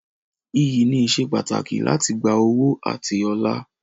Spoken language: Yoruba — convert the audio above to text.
Iyì ni ìsepàtàkì láti gba ọ̀wọ̀ àti ọlá.